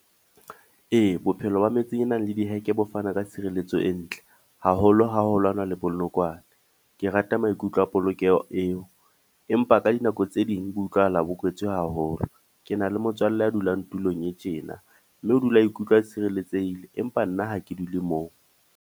Ee, bophelo ba metsi e nang le diheke bo fana ka tshirelletso e ntle, haholo ha ho lwanwa le bonokwane. Ke rata maikutlo a polokeho eo, empa ka dinako tse ding bo utlwahala bo kwetswe haholo. Ke na le motswalle ya dulang tulong e tjena, mme o dula a ikutlwa tshirelletsehile, empa nna ha ke dule moo.